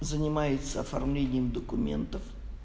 занимается оформлением документов